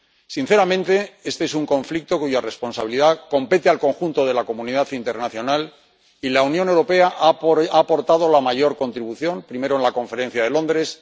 Sinceramente, este es un conflicto cuya responsabilidad compete al conjunto de la comunidad internacional, y la Unión Europea ha aportado la mayor contribución ―primero, en la conferencia de Londres